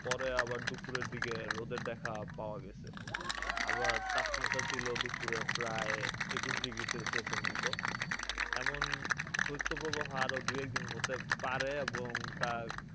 পরে আবার দুপুরের দিকে রোদের দেখা পাওয়া গেছে। আবার তাপমাত্রা ছিল দুপুরে প্রায় একুশ degrees celsius এর মত। এমন শৈত্যপ্রবাহ আরো দু'একদিন হতে পারে এবং তা,